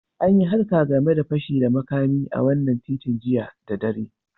An yi harka game de fashi da makami a wanan titin jiya da dare.